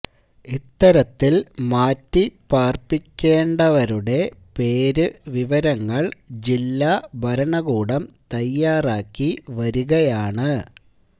ഇത്തരത്തില് മാറ്റിപാര്പ്പിക്കേണ്ടവരുടെ പേരു വിവരങ്ങള് ജില്ലാ ഭരണകൂടം തയ്യാറാക്കി വരികയാണ്